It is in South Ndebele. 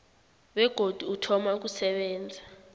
begodu uthoma ukusebenza